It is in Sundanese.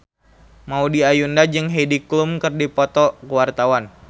Maudy Ayunda jeung Heidi Klum keur dipoto ku wartawan